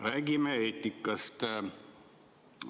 Räägime eetikast!